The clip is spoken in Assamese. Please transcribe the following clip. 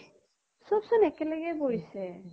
সব চোন একেলগে পৰিছে ।